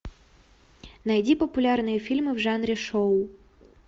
найди популярные фильмы в жанре шоу